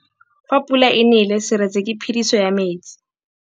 Fa pula e nelê serêtsê ke phêdisô ya metsi.